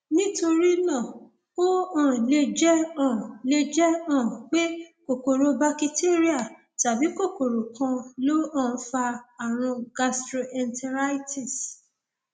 nítorí náà ó um lè jẹ um lè jẹ um pé kòkòrò bakitéríà tàbí kòkòrò kan ló um fa ààrùn gastroenteritis